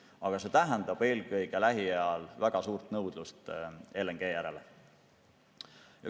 Aga see tähendab eelkõige lähiajal väga suurt nõudlust LNG järele.